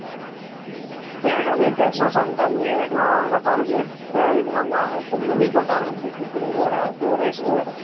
எனக்கு வந்து testosterone கம்மி எனக்கெல்லாம் அதனால பாரு எனக்கு மீசை இதெல்லாம் பாரு முடி கொட்ட ஆரம்பிச்சுடுச்சு திரும்பி வேற அது வேற issue ஆ இருக்கு